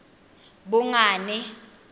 bongane